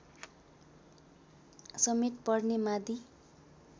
समेत पर्ने माडी